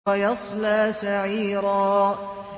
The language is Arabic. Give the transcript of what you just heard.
وَيَصْلَىٰ سَعِيرًا